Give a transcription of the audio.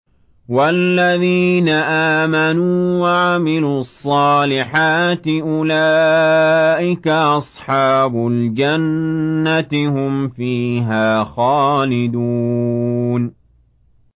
وَالَّذِينَ آمَنُوا وَعَمِلُوا الصَّالِحَاتِ أُولَٰئِكَ أَصْحَابُ الْجَنَّةِ ۖ هُمْ فِيهَا خَالِدُونَ